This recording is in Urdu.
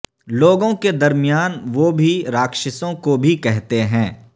لوگوں کے درمیان وہ بھی راکشسوں کو بھی کہتے ہیں